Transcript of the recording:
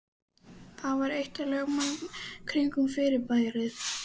Það var eitt af lögmálunum kringum fyrirbærið.